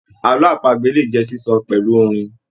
Àlọ apagbe le jẹ sísọ pẹlu orin.